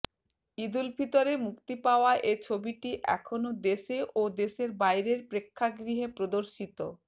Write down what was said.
ঈদুল ফিতরে মুক্তি পাওয়া এ ছবিটি এখনো দেশে ও দেশের বাইরের প্রেক্ষাগৃহে প্রদর্শিত